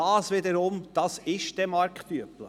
Und das wiederum ist marktüblich.